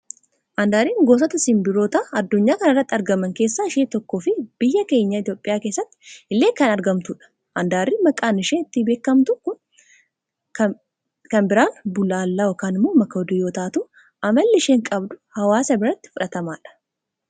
Andarriin gosoota sinbirroota adunyaa kana irratti argaman keessaa ishee tokko fi biyya keenya Itoophiyaa keessatti illee kan argamtudha. addarriin maqaan isheen ittiin beekamtu kan biraan Bullaallaa fi Makoodii yoo taatu amalli isheen qabdu awaasa biratti fudhatamaadha.